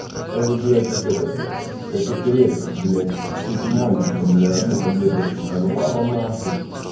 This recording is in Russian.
я уже блять как этот нахуй как эпилепсик блять с утреманчика одну таблеточку коленвала нахуй